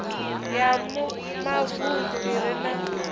ya mavunḓu i re na